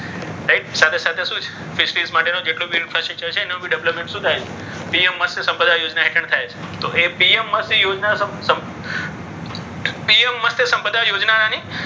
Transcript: right સાથે સાથે શું છે? કે fish માટેનું જેટલું બી એનું development શું થાય છે? પીએમ મત્સ્ય સંપ્દા યોજના હેઠળ થાય છે. તો પીએમ મત્સ્ય યોજના પીએમ મત્સ્ય યોજનાની